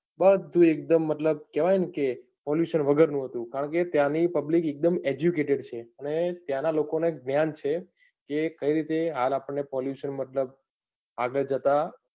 બધું એકદમ મતલબ કેવાયનકે pollution વગર નું હતું કરણકે ત્યાંની public એકદમ educated છે અને ત્યાંના લોકોને જ્ઞાન છે કે કઈ રીતે હાલ આપડ ને pollution મતલબ આગળ જતા,